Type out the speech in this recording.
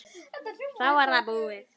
Þá er það búið.